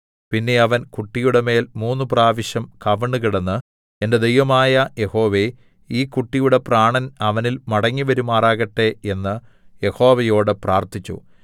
പിന്നെ അവൻ കുട്ടിയുടെ മേൽ മൂന്നുപ്രാവശ്യം കവിണ്ണുകിടന്ന് എന്റെ ദൈവമായ യഹോവേ ഈ കുട്ടിയുടെ പ്രാണൻ അവനിൽ മടങ്ങിവരുമാറാകട്ടെ എന്ന് യഹോവയോട് പ്രാർത്ഥിച്ചു